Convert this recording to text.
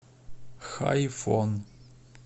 хайфон